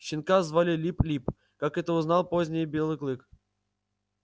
щенка звали лип-лип как это узнал позднее белый клык